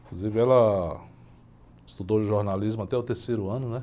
Inclusive ela estudou jornalismo até o terceiro ano, né?